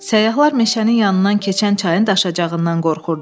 Səyyahlar meşənin yanından keçən çayın daşacağından qorxurdular.